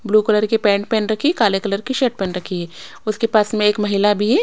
Blue colour की pant पहन रखी काले कलर की शर्ट पहन रखी है उसके पास में एक महिला भी है।